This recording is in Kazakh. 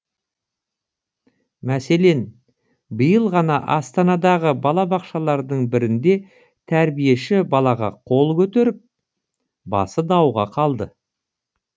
мәселен биыл ғана астанадағы балабақшалардың бірінде тәрбиеші балаға қол көтеріп басы дауға қалды